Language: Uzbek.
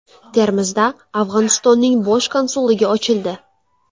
Termizda Afg‘onistonning bosh konsulligi ochildi.